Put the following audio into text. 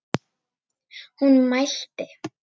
Hún mælti: